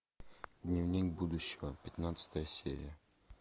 дневник будущего пятнадцатая серия